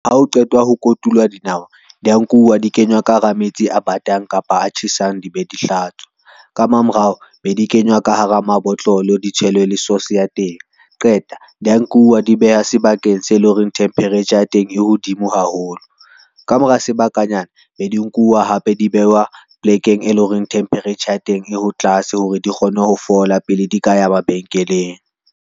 Ha o qetwa ho kotulwa dinawa, di a nkuwa di kenywa ka hara metsi a batang kapa a tjhesang di be di hlatswa, ka mamorao be di kenywa ka hara mabotlolo, ditshelwe le source ya teng. Qeta di a nkuwa di bewa sebakeng se leng hore temperature ya teng e hodimo haholo. Ka mora sebakanyana be di nkuwa hape di behwa plekeng, e leng hore temperature ya teng e ho tlase hore di kgone ho fola pele di ka ya mabenkeleng.